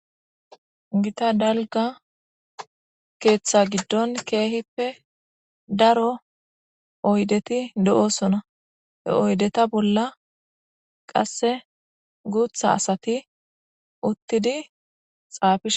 Gitta daliiga keeththa giddon kehippe daaro oyiddetti de ossonna he oyiddetta bolla qasse guuththa asatti uththidi xafishshe.